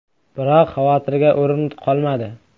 Biroq xavotirga o‘rin qolmadi.